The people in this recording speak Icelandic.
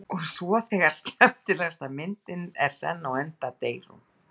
Og svo þegar skemmtilegasta myndin er senn á enda deyr hún.